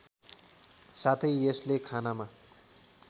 साथै यसले खानामा